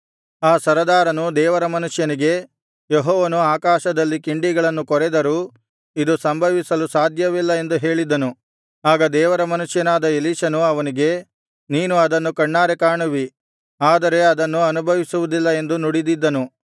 ಆ ಸರದಾರನು ದೇವರ ಮನುಷ್ಯನಿಗೆ ಯೆಹೋವನು ಆಕಾಶದಲ್ಲಿ ಕಿಂಡಿಗಳನ್ನು ಕೊರೆದರೂ ಇದು ಸಂಭವಿಸಲು ಸಾಧ್ಯವಿಲ್ಲ ಎಂದು ಹೇಳಿದ್ದನು ಆಗ ದೇವರ ಮನುಷ್ಯನಾದ ಎಲೀಷನು ಅವನಿಗೆ ನೀನು ಅದನ್ನು ಕಣ್ಣಾರೆ ಕಾಣುವಿ ಆದರೆ ಅದನ್ನು ಅನುಭವಿಸುವುದಿಲ್ಲ ಎಂದು ನುಡಿದಿದ್ದನು